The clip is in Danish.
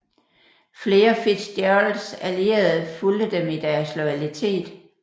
Flere FitzGeralds allierede fulgte dem i deres loyalitet